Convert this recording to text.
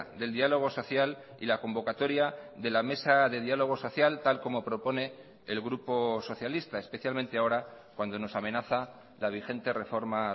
del diálogo social y la convocatoria de la mesa de diálogo social tal como propone el grupo socialista especialmente ahora cuando nos amenaza la vigente reforma